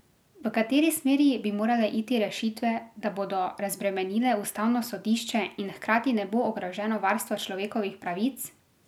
V kateri smeri bi morale iti rešitve, da bodo razbremenile ustavno sodišče in hkrati ne bo ogroženo varstvo človekovih pravic?